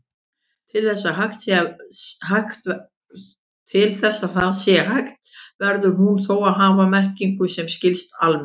Til þess að það sé hægt verður hún þó að hafa merkingu sem skilst almennt.